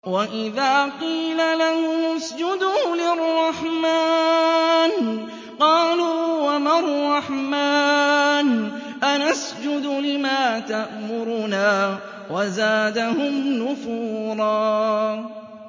وَإِذَا قِيلَ لَهُمُ اسْجُدُوا لِلرَّحْمَٰنِ قَالُوا وَمَا الرَّحْمَٰنُ أَنَسْجُدُ لِمَا تَأْمُرُنَا وَزَادَهُمْ نُفُورًا ۩